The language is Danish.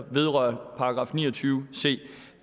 vedrører § ni og tyve c